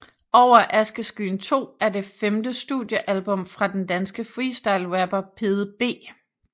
Over Askeskyen 2 er det femte studiealbum fra den danske freestyle rapper Pede B